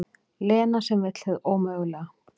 Lena sem vill hið ómögulega.